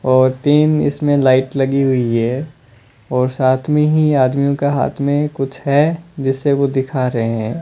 और तीन इसमें लाइट लगी हुई है और साथ में ही आदमियों का हाथ में कुछ है जिससे वो दिखा रहे हैं।